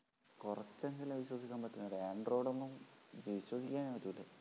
കുറച്ചെങ്കിലും വിശ്വസിക്കാൻ പറ്റുന്നത്. android ഒന്നും വിശ്വസിക്കാനേ പറ്റൂല്ല